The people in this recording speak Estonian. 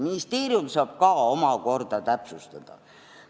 Ministeerium saab ka omakorda täpsustada.